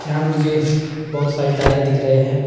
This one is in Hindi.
यहां मुझे बहुत सारे टायर दिख रहे हैं।